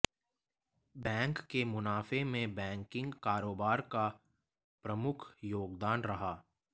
bank के मुनाफे में बैंकिंग कारोबार का प्रमुख योगदान रहा